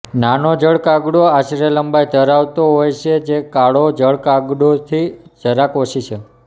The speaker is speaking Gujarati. નાનો જળ કાગડો આશરે લંબાઈ ધરાવતો હોય છે જે કાળો જળ કાગડોથી જરાક ઓછી છે